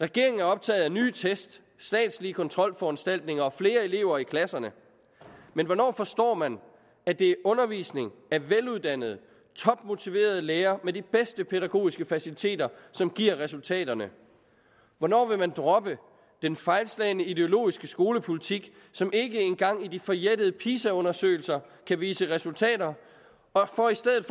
regeringen er optaget af nye test statslige kontrolforanstaltninger og flere elever i klasserne men hvornår forstår man at det er undervisning af veluddannede topmotiverede lærere med de bedste pædagogiske faciliteter som giver resultaterne hvornår vil man droppe den fejlslagne ideologiske skolepolitik som ikke engang i de forjættede pisa undersøgelser kan vise resultater for i stedet